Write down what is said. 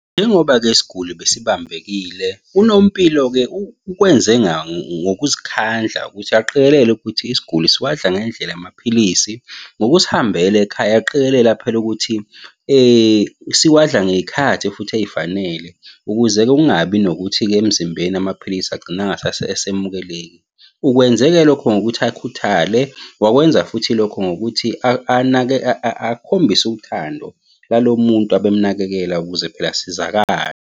Njengoba-ke isiguli besibambekile, unompilo-ke ukwenzeka ngokuzikhandla ukuthi aqikelele ukuthi isiguli siwadla ngendlela amaphilisi. Ngokusihambela ekhaya aqikelela phela ukuthi siyawadla ngey'khathi futhi ey'fanele, ukuze-ke kungabi nokuthi-ke emzimbeni amaphilisi agcine angasasemukeleki. Ukwenze-ke lokho ngokuthi akhuthale. Wakwenza futhi lokho ngokuthi anake akhombise uthando lalo muntu abemunakekela ukuze phela asizakale.